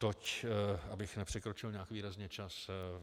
Toť, abych nepřekročil nějak výrazně čas.